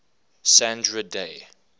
sandra day